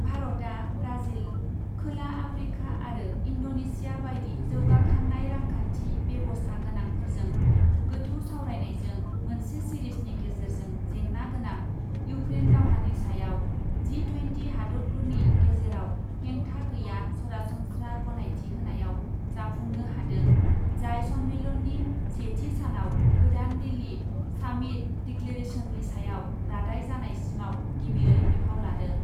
भारतआ ब्राजिल , खोला आफ्रिका आरो इन्ड'नेसिया बायदि जौगाखांनाय रांखान्थि बेबस्था गोनांफोरजों गोथौ सावरायनायजों मोनसे सेरिजनि गेजेरजों जेंना गोनां इउक्रेन दावहानि सायाव जि ट्वेन्टि हादतफोरनि गेजेराव हेंथा गैया सरासनस्रा गनायथिहोनायाव जाफुंनो हादों , जाय सन्मेलननि सेथि सानाव गोदान दिल्ली सामिट डिक्लेरेशननि सायाव रादाय जानायसिमाव गिबियै बिफाव लादों।